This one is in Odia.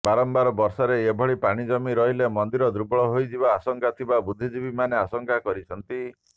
ବାରମ୍ବାର ବର୍ଷାରେ ଏଭଳି ପାଣି ଜମି ରହିଲେ ମନ୍ଦିର ଦୁର୍ବଳ ହୋଇଯିବାର ଆଶଙ୍କା ଥିବା ବୁଦ୍ଧିଜୀବୀମାନେ ଆଶଙ୍କା କରିଛନ୍ତି